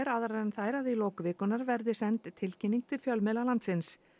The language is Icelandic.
aðrar en þær að í lok vikunnar verði send tilkynning til fjölmiðla landsins